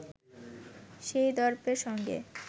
সেই দর্পের সঙ্গে